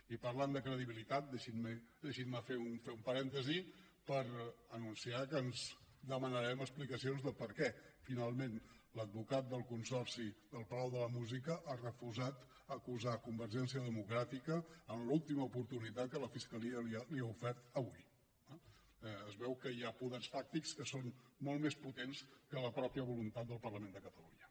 i parlant de credibilitat deixin me fer un parèntesi per anunciar que demanarem explicacions de per què finalment l’advocat del consorci del palau de la música ha refusat acusar convergència democràtica en l’última oportunitat que la fiscalia li ha ofert avui eh es veu que hi ha poders fàctics que són molt més potents que la mateixa voluntat del parlament de catalunya